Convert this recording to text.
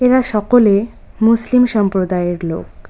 এরা সকলে মুসলিম সম্প্রদায়ের লোক।